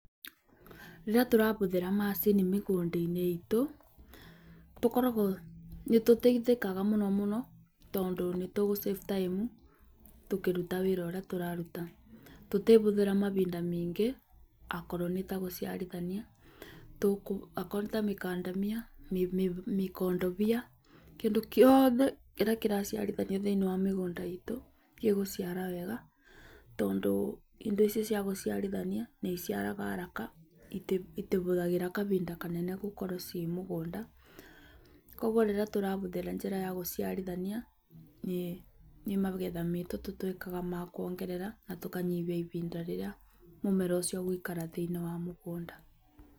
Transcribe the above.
Rĩrĩa tũrahũthĩra macini mĩgũnda-inĩ iitũ, nĩtũteithagĩkaga mũno mũno tondũ nĩtũgũsave time, tũkĩruta wĩra ũrĩa ũraruta. Tũtiĩhũthĩra mahinda maingĩ akorwo nĩtagũciarithania akorwo nĩ mĩkandania, mĩkondobia, kĩndũ gĩothe kĩrĩa kĩraciarithanio thĩinĩ wa mĩgũnda iitũ, gĩgũciara wega, tondũ indo icio ciagũciarithania nĩiciaraga haraka, itihũthagĩra kahinda kanene gũkorwo ciĩ mũgũnda. Koguo rĩrĩa tũrahũthĩra njĩra ya gũciarithania, nĩ magetha maitũ tũtuĩkaga akuongerera, na tũkanyihia ihinda rĩrĩa mũmera ũcio ũgũikara thĩinĩ wa mũgũnda.